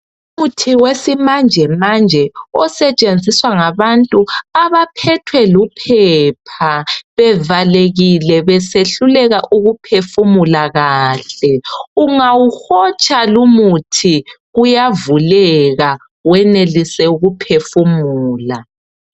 Umuthi wesimanjemanje osetshenziswa ngabantu abaphethwe luphepha bevalekile besehluleka ukuphefumula kahle ungawuhotsha lumuthi kuyavuleka wenelise ukuphefumula.